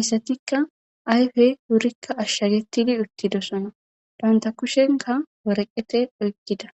hayssatikka ayfe wurikka ashshagetidi uttidosona danta kushenka woreqete oykkida